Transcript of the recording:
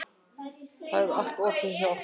Það er allt opið hjá okkur.